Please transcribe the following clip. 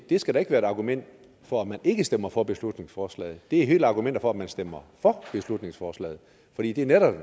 skal da være argument for at man ikke stemmer for beslutningsforslaget det er hele argumentet for at man stemmer for beslutningsforslaget fordi det netop